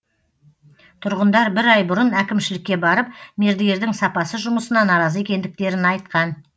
тұрғындар бір ай бұрын әкімшілікке барып мердігердің сапасыз жұмысына наразы екендіктерін айтқан